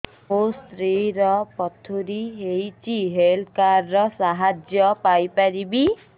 ମୋ ସ୍ତ୍ରୀ ର ପଥୁରୀ ହେଇଚି ହେଲ୍ଥ କାର୍ଡ ର ସାହାଯ୍ୟ ପାଇପାରିବି